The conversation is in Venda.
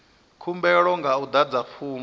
khumbelo nga u adza fomo